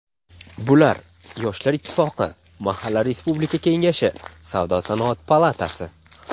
Bular: Yoshlar ittifoqi; Mahalla respublika kengashi; Savdo-sanoat palatasi.